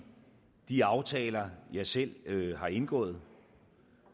de aftaler jeg selv har indgået